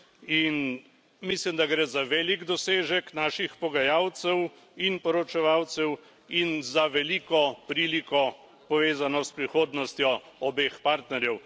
In mislim, da gre za velik dosežek naših pogajalcev in poročevalcev in za veliko priliko, povezano s prihodnostjo obeh partnerjev.